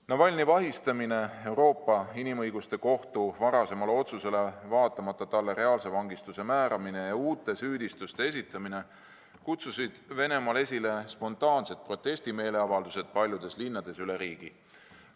Navalnõi vahistamine, hoolimata Euroopa Inimõiguste Kohtu varasemast otsusest, ning talle reaalse vangistuse määramine ja uute süüdistuste esitamine kutsusid esile spontaansed protestimeeleavaldused paljudes linnades üle Venemaa.